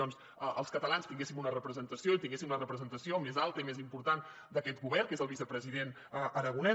doncs els catalans tinguéssim una representació i tinguéssim la representació més alta i més important d’aquest govern que és el vicepresident aragonès